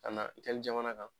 Ka na jamana kan.